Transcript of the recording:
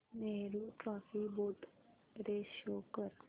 Nehru trophy boat race show कर